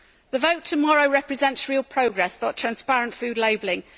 The vote tomorrow represents real progress for transparent food labelling.